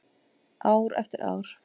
Ár eftir ár.